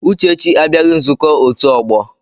Uchechi abịaghị nzukọ otu ọgbọ.